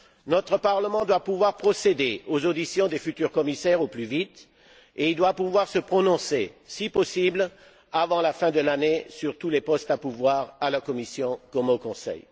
Notre Parlement doit pouvoir procéder aux auditions des futurs commissaires au plus vite et il doit pouvoir se prononcer si possible avant la fin de l'année sur tous les postes à pourvoir à la Commission, comme au Conseil.